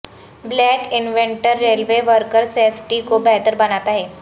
black inventor railway worker safety کو بہتر بناتا ہے